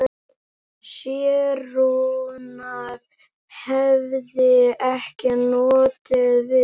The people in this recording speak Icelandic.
Særúnar hefði ekki notið við.